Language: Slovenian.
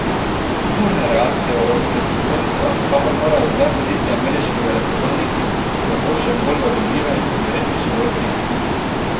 Burne reakcije v evropskih prestolnicah, kamor morajo zdaj hoditi ameriški veleposlaniki, so zato še bolj razumljive in verjetno še bolj pristne.